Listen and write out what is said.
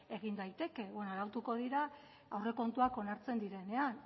egin daiteke beno arautuko dira aurrekontuak onartzen direnean